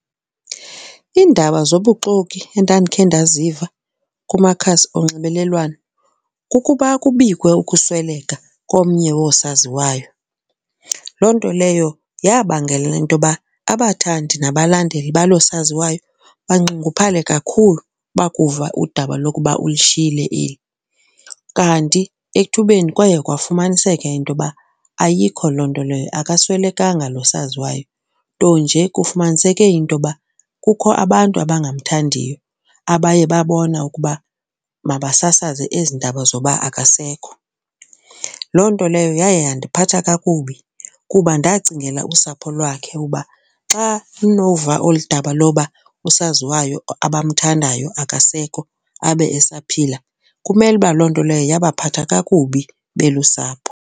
Iindaba zobuxoki endandikhe ndaziva kumakhasi onxibelelwano kukuba kubikwe ukusweleka komnye woosaziwayo. Loo nto leyo yabangela into yoba abathandi nabalandeli baloo saziwayo banxunguphale kakhulu bakuva udaba lokuba ulishiye eli. Kanti ethubeni kwaye kwafumaniseka into yoba ayikho loo nto leyo, akaswelekanga lo esaziwayo, nto nje kufumaniseke into yoba kukho abantu abangamthandiyo abaye babona ukuba mabasasaze ezi ndaba zoba akasekho. Loo nto leyo yaye yandiphatha kakubi kuba ndacingela usapho lwakhe uba xa lunova olu daba loba usaziwayo abamthandayo akasekho abe esaphila, kumele uba loo nto leyo yabaphathi kakubi belusapho.